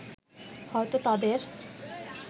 হয়তো তাদের